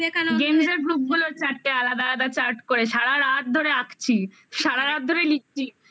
games এর group গুলোর চারটে আলাদা আলাদা chart করে সারারাত ধরে আঁকছি. সারারাত ধরে লিখছি